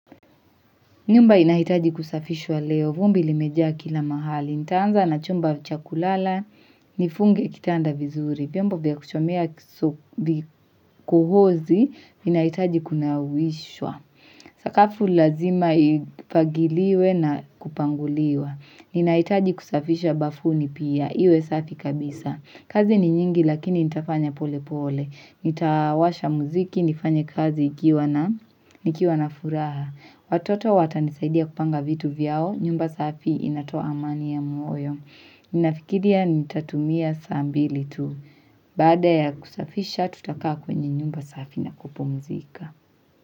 Nyumba inahitaji kusafishwa leo, vumbi limejaa kila mahali, nitaanza na chumba cha kulala, nifunge kitanda vizuri, vyombo vya kuchomea kuhuzi, vinahitaji kunawishwa. Sakafu lazima ifagiliwe na kupanguliwa, inahitaji kusafisha bafuni pia, iwe safi kabisa, kazi ni nyingi lakini nitafanya pole pole, nitawasha muziki, nifanye kazi nikiwa na furaha. Watoto watanisaidia kupanga vitu vyao, nyumba safi inatoa amani ya moyo. Ninafikiria nitatumia saa mbili tu. Baada ya kusafisha tutakaa kwenye nyumba safi na kupumzika.